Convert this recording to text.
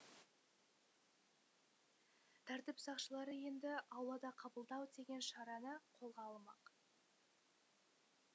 тәртіп сақшылары енді аулада қабылдау деген шараны қолға алмақ